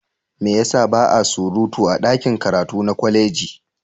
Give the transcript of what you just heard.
Me ya sa ba a surutu a ɗakin karatu na kwaleji?